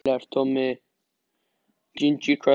Sem sífellt var með áhyggjur af þyngd sinni og holdafari.